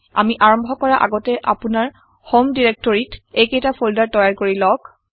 আমি আৰম্ভ কৰা আগতে আপোনাৰ হম ডেৰেক্টৰিত এইকেইটা ফল্ডাৰ তৈয়াৰ কৰি লওঁক